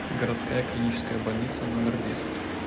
городская клиническая больница номер десять